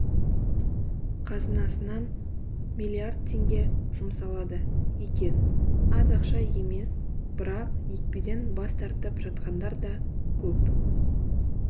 қазынасынан миллииард теңге жұмсалады екен аз ақша емес бірақ екпеден бас тартып жатқандар да көп